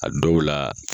A dɔw la